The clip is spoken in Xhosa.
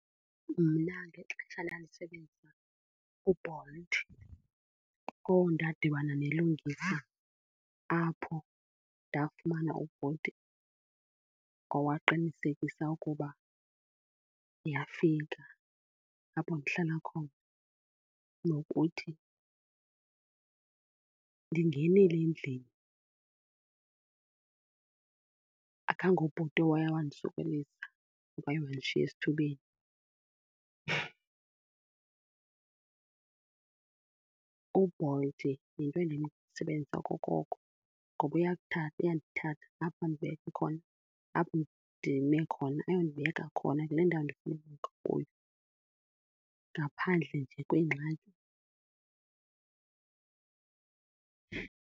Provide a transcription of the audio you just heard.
Mna ngexesha ndandisebenzisa uBolt, oh ndadibana nelungisa apho ndafumana uBolt owaqinisekisa ukuba ndiyafika apho ndihlala khona nokuthi ndingenile endlini. AkangoBolt owaya wandisokolisa waye wandishiya esithubeni. UBolt yinto endimsebenzisa okokoko ngoba uyandithatha apho andibeke khona, apho ndime khona ayondibeka khona kule ndawo ndifuna ubekwa kuyo ngaphandle nje kwengxaki.